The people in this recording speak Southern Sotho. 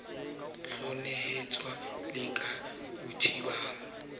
o hlanohetswe le ke bothabang